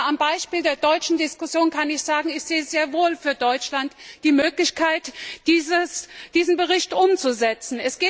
Aber am Beispiel der deutschen Diskussion kann ich sagen, dass ich sehr wohl für Deutschland die Möglichkeit sehe, diesen Bericht umzusetzen.